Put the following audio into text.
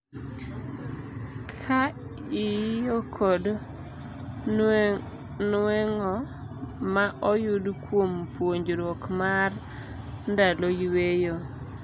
Ka iiyo kod nueng'o ma oyud kuom puonjruok mar ndalo yueyo.